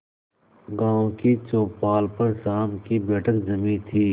गांव की चौपाल पर शाम की बैठक जमी थी